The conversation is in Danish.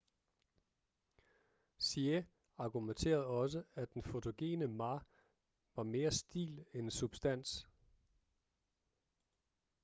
hsieh argumenterede også at den fotogene ma var mere stil end substans